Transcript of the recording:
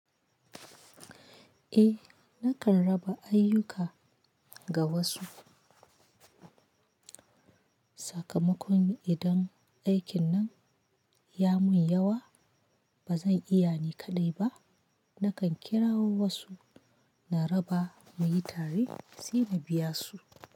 Eh nakan raba ayuka ga wasu. Sakamakon idan aikin nan ya mun yawa ba zan iya ni kaɗai ba. Nakan kira wasu na raba mu yi tare sai na biya su.